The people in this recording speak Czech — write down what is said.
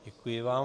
Děkuji vám.